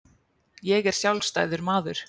Ég er sjálfstæður maður.